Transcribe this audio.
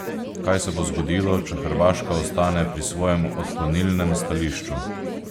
Kaj se bo zgodilo, če Hrvaška ostane pri svojem odklonilnem stališču?